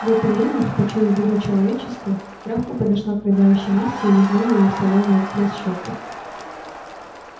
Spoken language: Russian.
в это время почуяв беду человеческую травка подошла к рыдающей насте и лизнула её в солёную от слёз щёку